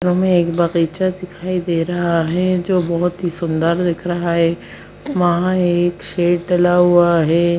हमे एक बगीचा दिखाई दे रहा है जो की बहुत सुन्दर दिख रहा है वहां एक शेड डला हुआ है।